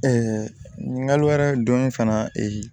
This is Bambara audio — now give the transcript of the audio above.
ɲininkali wɛrɛ don fana